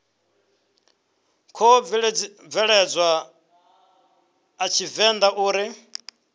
khou bveledzwa a tshivenḓa uri